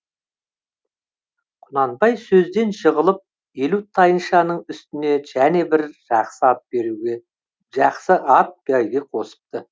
құнанбай сөзден жығылып елу тайыншаның үстіне және бір жақсы ат бәйге қосыпты